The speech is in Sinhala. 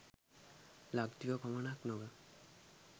ලක්දිව පමණක් නොව